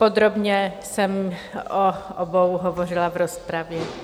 Podrobně jsem o obou hovořila v rozpravě.